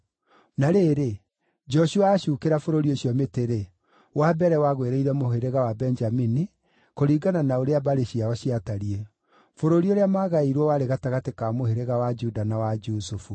Na rĩrĩ, Joshua aacuukĩra bũrũri ũcio mĩtĩ-rĩ, wa mbere wagwĩrĩire mũhĩrĩga wa Benjamini, kũringana na ũrĩa mbarĩ ciao ciatariĩ. Bũrũri ũrĩa maagaĩirwo warĩ gatagatĩ ka mũhĩrĩga wa Juda na wa Jusufu: